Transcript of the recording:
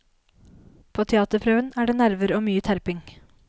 På teaterprøven er det nerver og mye terping.